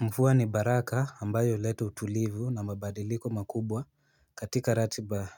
Mvua ni baraka ambayo huleta utulivu na mabadiliko makubwa katika ratiba